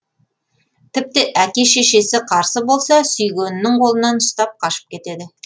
тіпті әке шешесі қарсы болса сүйгенінің қолынан ұстап қашып кетеді